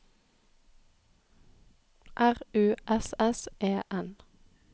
R U S S E N